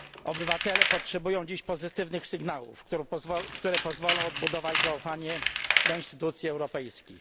Obywatele potrzebują dziś pozytywnych sygnałów, które pozwolą odbudować zaufanie do instytucji europejskich.